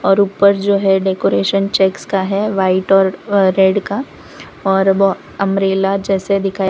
और ऊपर जो है डेकोरेशन चैक्स का है व्हाइट और रेड का और वो अंब्रेला जैसे दिखया --